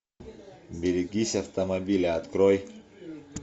берегись автомобиля открой